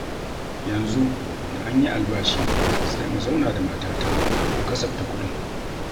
Yanzu da an yi albashi sai mu zauna da matata mu kasafta kuɗin.